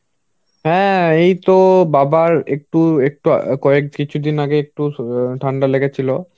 হ্যাঁ এই তো বাবার একটু একটু কয়েক~ কিছুদিন আগে একটু ঠান্ডা লেগেছিল.